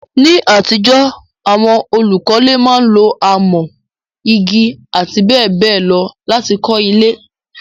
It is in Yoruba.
Ní àtijọ́, àwon olùkọ́le máa n lo amọ́, igi àti béèbéè lo láti kó ilé